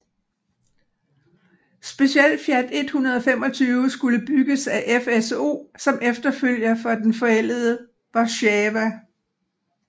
Specielt Fiat 125 skulle bygges af FSO som efterfølger for den forældede Warszawa